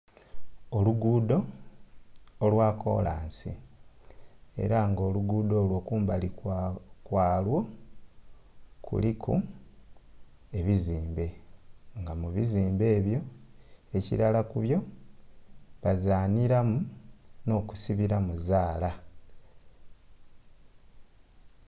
Oluguudo olwa kolansi era nga oluguudo olwo kumbali kwalwo kuliku ebizimbe, nga mu bizimbe ebyo ekilala ku byo bazanhiramu n'okusibiramu zaala.